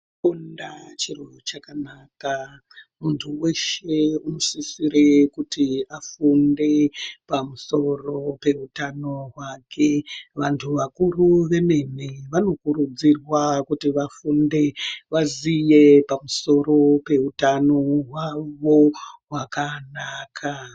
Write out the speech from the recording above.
Kufunda chinhu chakanaka muntu weshe unosisire kuti afunde pamusoro peutano hwake vantu vakuru vanokurudzirwa kuti vafunde vaziye pamusoro peutano hwavo hwakanaka.